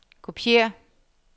kopiér